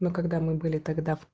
но когда мы были тогда в